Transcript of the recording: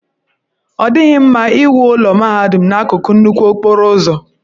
Ọ dịghị mma iwu ụlọ mahadum n'akụkụ nnukwu okporo ụzọ.